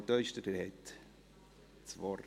Frau Teuscher-Abts, Sie haben das Wort.